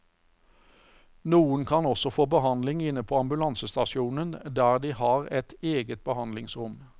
Noen kan også få behandling inne på ambulansestasjonen der de har et eget behandlingsrom.